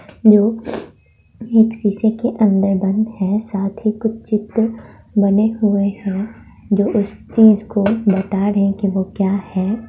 लो इस शीशे के अंदर बंद हैं। साथ ही कुछ चित्र बने हुए हैं। वो इस चीज को बता रहे हे के वो क्या हैं।